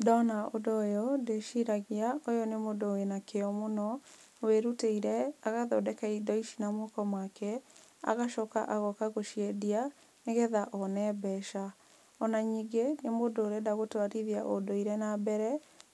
Ndona ũndũ ũyũ, ndĩciragia ũyũ nĩ mũndũ wĩna kĩo mũno, wĩrutĩire agathondeka indo ici na moko make, agacoka agoka gũciendia, nĩgetha one mbeca. Ona ningĩ, nĩ mũndũ ũrenda gũtwarithia ũndũire nambere,